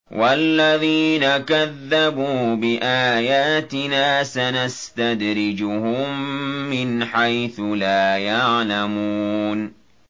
وَالَّذِينَ كَذَّبُوا بِآيَاتِنَا سَنَسْتَدْرِجُهُم مِّنْ حَيْثُ لَا يَعْلَمُونَ